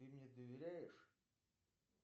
ты мне доверяешь